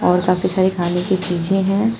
और काफी सारे खाने की चीजें हैं।